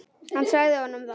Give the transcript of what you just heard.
Hann sagði honum það.